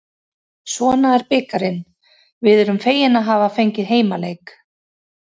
Svona er bikarinn, við erum fegin að hafa fengið heimaleik.